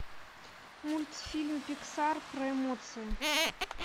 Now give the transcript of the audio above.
мультфильм пиксар про эмоции